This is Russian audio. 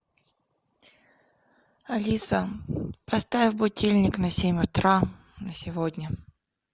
алиса поставь будильник на семь утра на сегодня